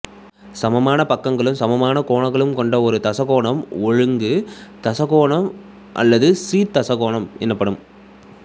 சமபக்கங்களும் சமகோணங்களும் கொண்டஒரு தசகோணம் ஒழுங்கு தசகோணம் அல்லது சீர் தசகோணம் எனப்படும்